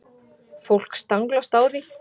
Fólk staglast á því.